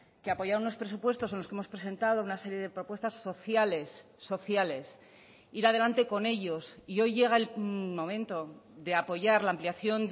que apoyar unos presupuestos en los que hemos presentado una serie de propuestas sociales sociales ir adelante con ellos y hoy llega el momento de apoyar la ampliación